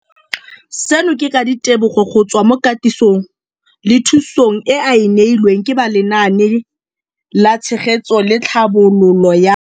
Seno ke ka ditebogo go tswa mo katisong le thu song eo a e neilweng ke ba Lenaane la Tshegetso le Tlhabololo ya.